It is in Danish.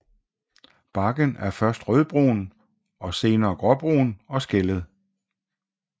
Barken er først rødbrun og senere gråbrun og skællet